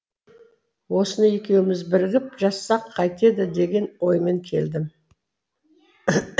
осыны екеуміз бірігіп жазсақ қайтеді деген оймен келдім